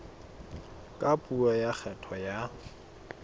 ka puo ya kgetho ya